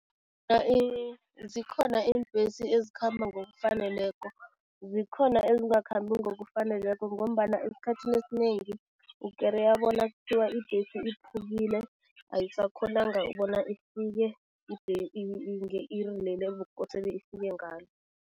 Zikhona iimbhesi ezikhamba ngokufaneleko, zikhona ezingakhambi ngokufaneleko ngombana esikhathini esinengi ukereya bona kuthiwa ibhesi iphukile, ayisakhonanga bona ifike nge-iri leli ebekukosele ifike ngalo.